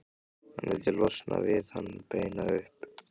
Hann vildi losna við hann, beina upp